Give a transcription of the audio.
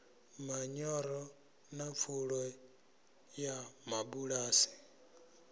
manyoro na pfulo ya mabulasi